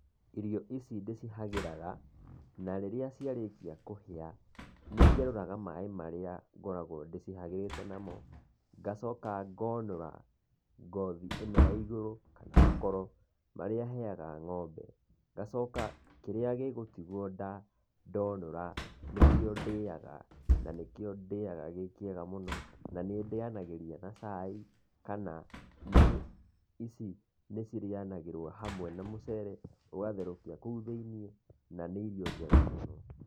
Irio ici ndĩcihagĩraga, na rĩrĩa ciarĩkia kũhĩa, nĩngerũraga maĩ marĩa ngoragwo ndĩcihagĩrite namo, ngacoka ngonũra ngothi ĩno ya igũrũ, kana makoro marĩa heyaga ng'ombe. Ngacoka kĩrĩa gĩgũtigwo ndonũra, nĩkĩo ndĩaga, na nĩkĩo ndĩaga gĩkĩega mũno, na nĩ ndĩanagĩria na cai kana nĩ ici nĩ cĩrĩanagĩrio na mũcere, ũgatherũkia kũu thĩiniĩ na nĩ irio njega mũno.